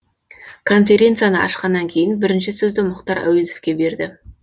конференцияны ашқаннан кейін бірінші сөзді мұхтар әуезовке берді